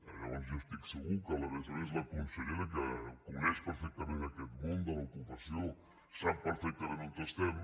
llavors jo estic segur que a més a més la consellera que coneix perfectament aquest món de l’ocupació sap perfectament on estem